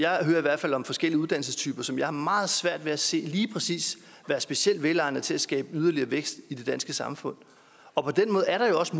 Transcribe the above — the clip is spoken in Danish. hvert fald om forskellige uddannelsestyper som jeg har meget svært ved at se lige præcis være specielt velegnede til at skabe yderligere vækst i det danske samfund og på den måde er der jo også